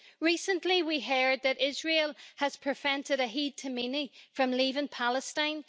Recently we heard that Israel has prevented Ahed Tamimi from leaving Palestine.